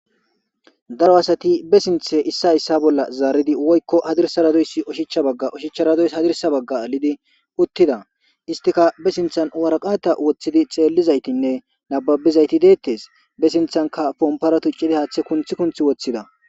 Daro asati ba sinte isay iso bola zaridi woyikko hadirsera dizay ushachera ushachara dizay hadirsa baga adidi utida istika ba sintan woraqate wotidi xelidayitinne nababizayti detes ba sintanika ponpara tuciyayti hata kunti kunti wotida.